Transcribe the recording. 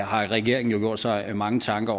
har regeringen jo gjort sig mange tanker